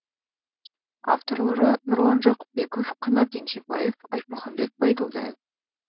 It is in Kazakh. авторлары нұрлан жақыпбеков қанат еңсебаев айтмұхаммед байділдаев